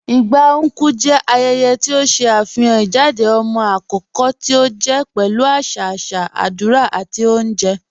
Igba Nkwu jẹ ayẹyẹ̀ ti o ṣe afihàn ijádẹ̀ ọmọ akọkọ̀ ti o jẹ pẹ̀lú aṣa aṣa, adúrà, àti ọ̀unjẹ́.